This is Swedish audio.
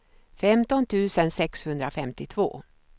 femton tusen sexhundrafemtiotvå